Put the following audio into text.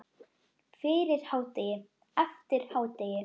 Fyrir hádegi, eftir hádegi.